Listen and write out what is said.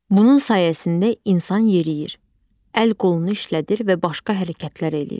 Bunun sayəsində insan yeriyir, əl-qolunu işlədir və başqa hərəkətlər eləyir.